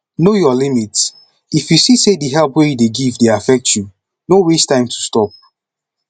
know your limit if you see say help wey you dey give dey affect you no waste time to stop